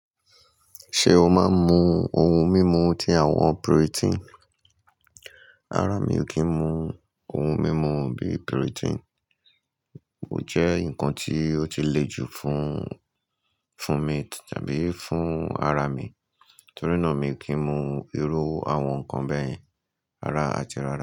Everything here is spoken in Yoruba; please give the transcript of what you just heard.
Ṣé o máa ń mu ohun mímu ti àwọn puritin? Ara mi ò kí ń mu ohun mímu bí i puritin, ó jẹ́ nǹkan tí ó ti le jù fún, fún mi tàbí fún ara mi, torí náà mi ò kí ń mu irú àwọn nǹkan bẹ́ẹ̀yẹn rárá àti rárá.